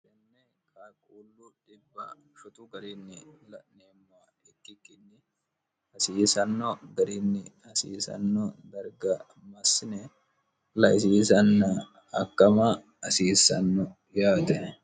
enne kaaquullu dhibb sotu gariinni la'neemma ikkikkinni hasiisanno gariinni hasiisanno barga massine laisiisanna hakkama hasiisanno yaate